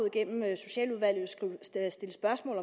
igennem socialudvalget stille spørgsmål